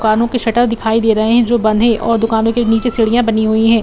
दुकानो के शटर दिखाई दे रहे है जो बंद है और दुकानो के नीचे सीढ़ियां बनी हुई है|